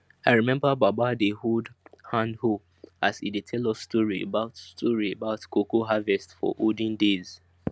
i remember baba dey hold handhoe as e dey tell us story about story about cocoa harvest for olden days